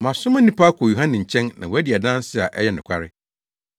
“Moasoma nnipa akɔ Yohane nkyɛn na wadi adanse a ɛyɛ nokware.